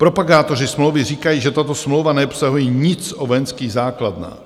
Propagátoři smlouvy říkají, že tato smlouva neobsahuje nic o vojenských základnách.